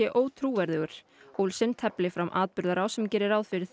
ótrúverðugur Olsen tefli fram atburðarás sem geri ráð fyrir